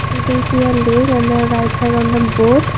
we can see a lake and the right side on the boat.